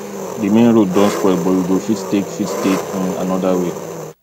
di main road don spoil but we go fit take fit take um another way